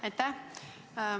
Aitäh!